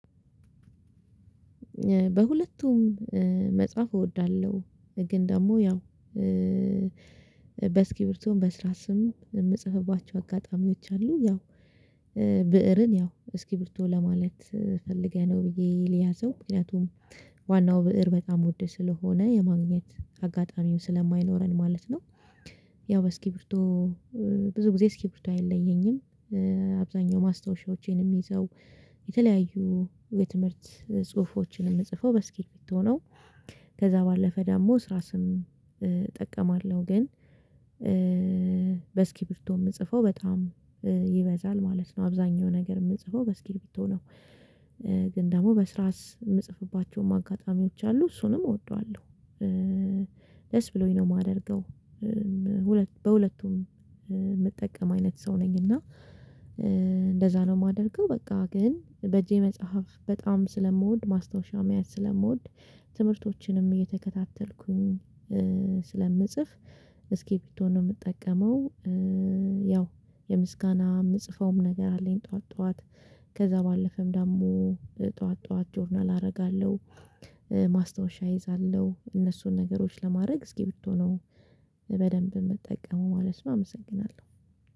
በሁለቱም መጽሐፍ እወዳለሁ ግን ደግሞ ያው በስኪቢርቶም በእስራስም ስም የምጽፍባቸው አጋጣሚዎች አሉ ያው ብእርን ያው እስኪ ብርቱ ለማለት ፈልገነው ብዬ ልያዘው ምክንያቱም ዋናው ብእር በጣም ውድ ስለሆነ የማግኘት አጋጣሚው ስለማይኖረን ማለት ነው። ያው በስኪብርቶ ብዙ ጊዜ እስኪ ብርቱ አይለየኝም። አብዛኛው ማስታወሻዎቼንም ይዘው የተለያዩ የትምህርት ጽሁፎችን የምጽፈው በስኪቢርቶ ነው። ከዛ ባለፈ ደግሞ ስራ ስም እጠቀማለሁ ግን በስኪሪብቶ የምጽፈው በጣም ይበዛል ማለት ነው አብዛኛው ነገር የምጽፈው በስኪቢርቶ ነው። ግን ደግሞ በስራስ የምጽፍባቸውም አጋጣሚዎች አሉ እሱንም እወደዋለሁ ደስ ብሎኝ ነው የማደርገው። ሁለት በሁለቱም የምጠቀም አይነት ሰው ነኝ እና እንደዛ ነው የማደርገው። በቃ ግን በእጄ መጽሐፍ በጣም ስለምወድ ማስታወሻው ማየት ስለምወድ ትምህርቶችንም እየተከታተልኩኝ ስለምጽፍ እስኪቢርቶ ነው የምጠቀመው። ያው የምስጋና የምጽፈውም ነገር አለኝ። ጠዋት ጠዋት ከዛ ባለፈም ደግሞ ጠዋት ጠዋት ጆርናል አደርጋለሁ ማስታወሻ እይዛለሁ እነሱን ነገሮች ለማድረግ እስኪቢርት ነው። በደንብ የምትጠቀመው ማለት ነው። አመሰግናለሁ